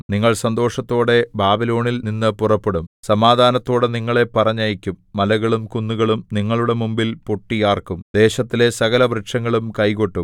നിങ്ങൾ സന്തോഷത്തോടെ ബാബിലോണില്‍ നിന്ന് പുറപ്പെടും സമാധാനത്തോടെ നിങ്ങളെ പറഞ്ഞയക്കും മലകളും കുന്നുകളും നിങ്ങളുടെ മുമ്പിൽ പൊട്ടി ആർക്കും ദേശത്തിലെ സകലവൃക്ഷങ്ങളും കൈകൊട്ടും